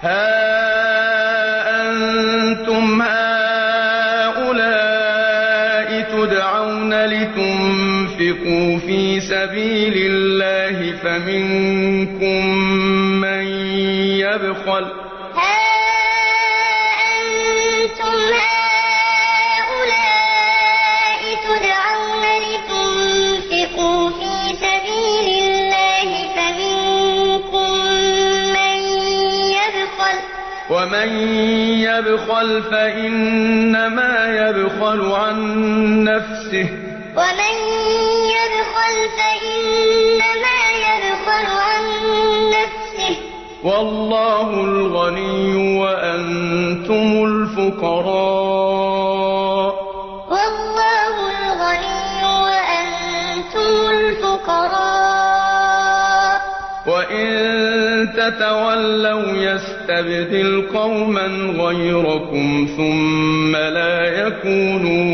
هَا أَنتُمْ هَٰؤُلَاءِ تُدْعَوْنَ لِتُنفِقُوا فِي سَبِيلِ اللَّهِ فَمِنكُم مَّن يَبْخَلُ ۖ وَمَن يَبْخَلْ فَإِنَّمَا يَبْخَلُ عَن نَّفْسِهِ ۚ وَاللَّهُ الْغَنِيُّ وَأَنتُمُ الْفُقَرَاءُ ۚ وَإِن تَتَوَلَّوْا يَسْتَبْدِلْ قَوْمًا غَيْرَكُمْ ثُمَّ لَا يَكُونُوا